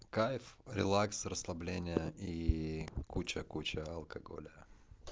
кайф релакс расслабление ии куча куча алкоголя